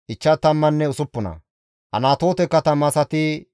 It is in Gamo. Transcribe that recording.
Looda, Hadidenne Oonno katama asati 725,